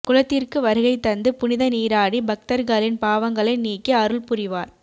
குளத்திற்கு வருகை தந்து புனித நீராடி பக்தர்களின் பாவங்களை நீக்கி அருள்புரிவார்